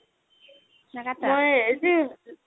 ও নাকাটো